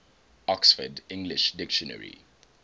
oxford english dictionary